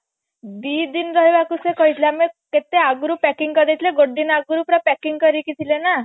ଦିଦିନ ରହିବାକୁ ସେ କହିଥିଲେ ଆମକୁ କେତେ ଆଗରୁ packing କରି ଦେଇଥିଲେ ଗୋଟେ ଦିନ ଆଗୁରୁ ପୁରା packing କରିକି ଥିଲେ ନା